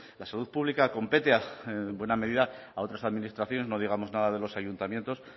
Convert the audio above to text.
la salud pública compete en buena medida a otras administraciones no digamos nada de los ayuntamientos